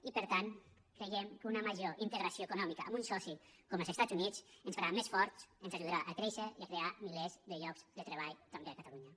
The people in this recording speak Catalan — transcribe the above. i per tant creiem que una major integració econòmica amb un soci com els estats units ens farà més forts ens ajudarà a créixer i a crear milers de llocs de treball també a catalunya